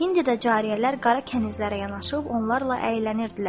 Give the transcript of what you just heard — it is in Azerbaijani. İndi də cariyələr qara kənizlərə yanaşıb onlarla əylənirdilər.